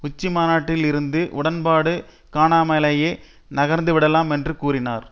உச்சி மாநாட்டில் இருந்து உடன்பாடு காணாமலேயே நகர்ந்துவிடலாம் என்று கூறினார்